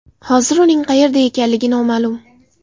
Hozir uning qayerda ekanligi noma’lum.